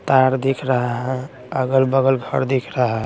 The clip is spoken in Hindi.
तार दिख रहा है अगल बगल घर दिख रहा--